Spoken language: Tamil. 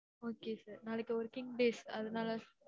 okay sir நாளைக்கு working days அதனால